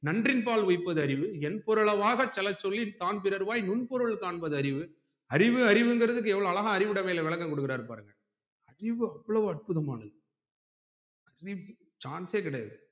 நன்றின் பால் உய்ப்பது அறிவு என்பொருள வாசெலச்சொல்லி தான் பிறர் வாய் முன் முன்பொருள் காண்பது அறிவு அறிவு அறிவுங்குறதுக்கு எவ்ளோ அறிவுடைல வெளக்கம் குடுக்குறாரு பாருங்க அறிவு அவ்ளோ அற்புதமானது chance யே கிடையாது